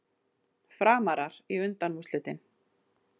Framarar í undanúrslitin